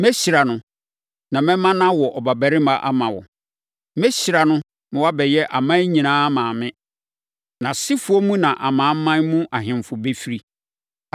Mɛhyira no, na mɛma no awo ɔbabarima ama wo. Mɛhyira no ma wabɛyɛ aman nyinaa maame. Nʼasefoɔ mu na amanaman mu ahemfo bɛfiri.”